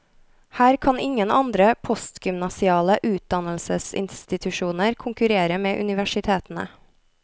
Her kan ingen andre postgymnasiale utdannelsesinstitusjoner konkurrere med universitetene.